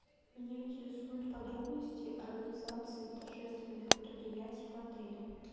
меня интересуют подробности организации торжественных мероприятий в отеле